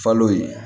Falo ye